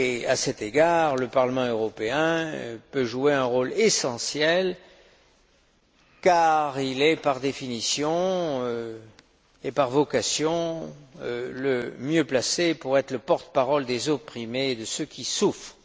À cet égard, le Parlement européen peut jouer un rôle essentiel car il est, par définition et par vocation, le mieux placé pour être le porte parole des opprimés et de ceux qui souffrent.